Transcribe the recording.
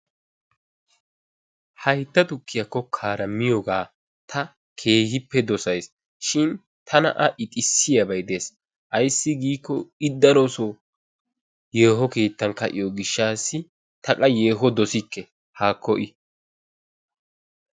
Hayttaa tukkiya kokkara miyoga ta keehippe dossayssi shiin tana a ixxisiyabay dees, ayssi giikko i darottoo yeeho keettaan ka'iyo gishshassi ta qa yeeho dossikke haakko I.